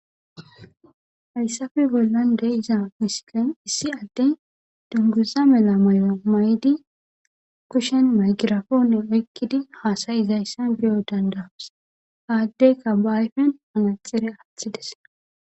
Hayssafe bollande iza misikan issi adten dunguza mela may'o may'di kushen maygirafonne oykkidi haasayizayssan biyo dandawas haaddeyka baayfen anaxire aththides.